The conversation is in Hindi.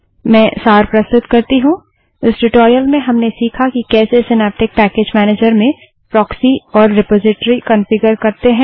मैं सार प्रस्तुत करती हूँ इस ट्यूटोरियल में हमने सीखा कि कैसे सिनैप्टिक पैकेज मैनेजर में प्रोक्सी और रिपोजिटरी कन्फिगर करते हैं